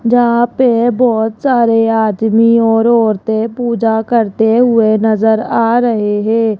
जहां पे बहोत सारे आदमी और औरते पूजा करते हुए नज़र आ रहे है।